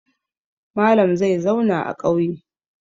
Malam zai zauna a ƙauye.